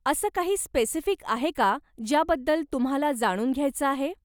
असं काही स्पेसिफिक आहे का ज्या बद्दल तुम्हाला जाणून घ्यायचं आहे?